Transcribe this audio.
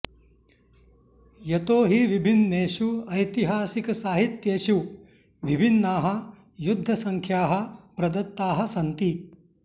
यतो हि विभिन्नेषु ऐतिहासिकसाहित्येषु विभिन्नाः युद्धसङ्ख्याः प्रदत्ताः सन्ति